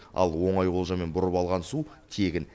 ал оңай олжамен бұрып алған су тегін